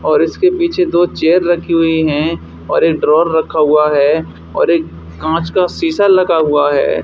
और इसके पीछे दो चेयर रखी हुई हैं और एक ड्रॉवर रखा हुआ है और एक कांच का शीशा लगा हुआ है।